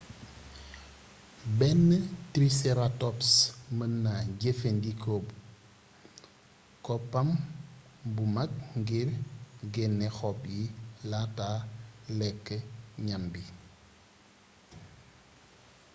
benn triceratops meenna jeefee ndiko koppam bu mak ngir genné xob yi laata lékk gnam bi